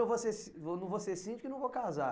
vou ser si, eu não vou ser síndico e não vou casar.